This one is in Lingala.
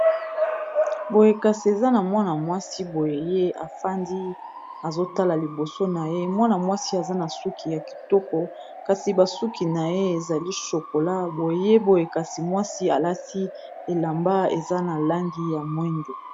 boyekasi eza na mwana-mwasi boye ye afandi azotala liboso na ye mwana mwasi aza na suki ya kitoko kasi basuki na ye ezali shokola boye boyekasi mwasi alati elamba eza na langi ya mwendo